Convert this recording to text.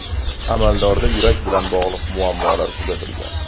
Amaldorda yurak bilan bog‘liq muammolar kuzatilgan.